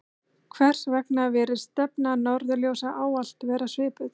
hvers vegna virðist stefna norðurljósa ávallt vera svipuð